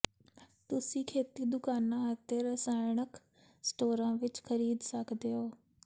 ਤੁਸੀਂ ਖੇਤੀ ਦੁਕਾਨਾਂ ਅਤੇ ਰਸਾਇਣਕ ਸਟੋਰਾਂ ਵਿੱਚ ਖਰੀਦ ਸਕਦੇ ਹੋ